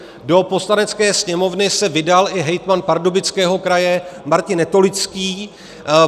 Do Poslanecké sněmovny se vydal i hejtman Pardubického kraje Martin Netolický.